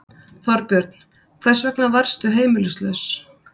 Þorbjörn: Hvers vegna varðstu heimilislaus?